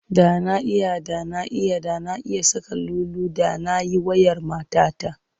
Da na iya, da na iya, da na iya saƙar lulu da na yi wa'yar matata.